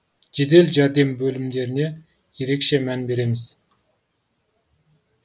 жедел жәрдем бөлімдеріне де ерекше мән береміз